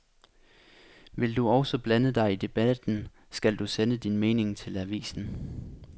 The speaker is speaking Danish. Vil du også blande dig i debatten, skal du sende din mening til avisen.